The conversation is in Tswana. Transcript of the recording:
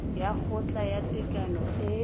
ya kgotla ya tekano e